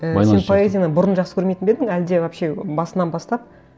ііі сен поэзияны бұрын жақсы көрмейтін бе едің әлде вообще басынан бастап